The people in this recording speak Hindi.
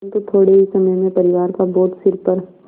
परन्तु थोडे़ ही समय में परिवार का बोझ सिर पर